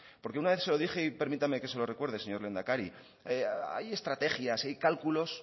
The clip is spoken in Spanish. porque una vez se lo dije y permítame que se lo recuerde señor lehendakari hay estrategias hay cálculos